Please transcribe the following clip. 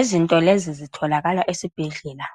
Izinto lezi zitholakala esibhedlela.